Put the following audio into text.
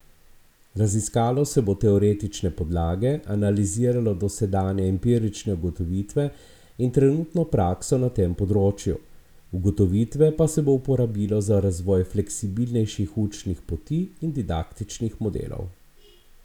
Raziskalo se bo teoretične podlage, analiziralo dosedanje empirične ugotovitve in trenutno prakso na tem področju, ugotovitve pa se bo uporabilo za razvoj fleksibilnejših učnih poti in didaktičnih modelov.